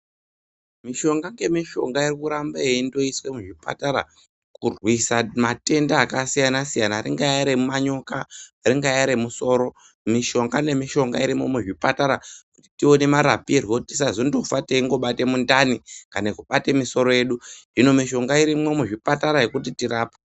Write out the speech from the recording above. Mishonga ngemishonga inongorambe yeiiswa muzvipatara kurwisa matenda akasiyana-siyana, ringaa remanyoka, ringaa remusoro mishonga nemishonga irimo muzvipatare kuti ione marapirwo kuti tasazondofa teingobate mundani, kana kubate misoro yedu. Hino mishonga irimwo muzvipatara yekuti tirapwe.